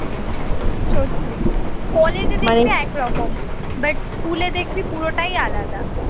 সত্যি কলেজে এক রকম but স্কুলে দেখবি পুরোটাই আলাদা